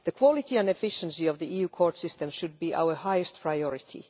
The quality and efficiency of the EU court system should be our highest priority.